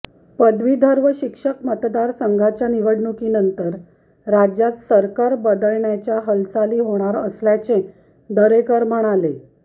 पदवीधर व शिक्षक मतदारसंघांच्या निवडणुकीनंतर राज्यात सरकार बदलण्याच्या हालचाली होणार असल्याचे दरेकर म्हणाले